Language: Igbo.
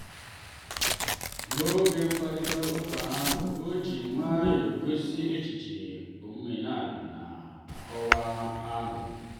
n'oge mkparịta ụka ahụ o ji nwayọọ gosi echiche omenala na nkọwa ahụ.